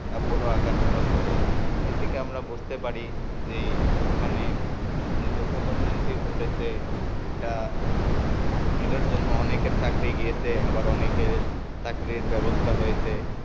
তা বড় আকার ধারণ করে এ থেকে আমরা বুঝতে পারি যে ওখানে যে দুর্ঘটনাটি ঘটেছে এটা এটার জন্য অনেকের চাকরি গিয়েছে আবার অনেকের চাকরির ব্যবস্থা হয়েছে।